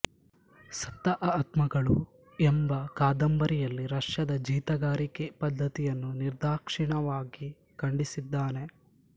ಸತ್ತ ಆತ್ಮಗಳು ಎಂಬ ಕಾದಂಬರಿಯಲ್ಲಿ ರಷ್ಯದ ಜೀತಗಾರಿಕೆ ಪದ್ಧತಿಯನ್ನು ನಿರ್ದಾಕ್ಷಿಣ್ಯವಾಗಿ ಖಂಡಿಸಿದ್ದಾನೆ